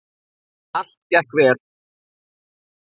Allt gekk vel.